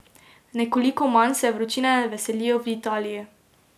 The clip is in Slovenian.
Nekoliko manj se vročine veselijo v Italiji.